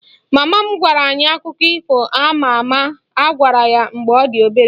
Mama m gwara anyị akụkọ ifo a ma ama a gwara ya mgbe ọ dị obere